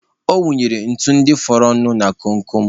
Ọ wụnyere ntu ndị fọrọ nụ na kom kom.